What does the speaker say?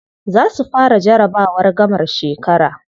Za su fara jarabawar gamar shekara.